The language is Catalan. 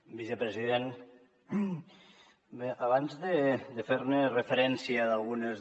vicepresident abans de fer referència a algunes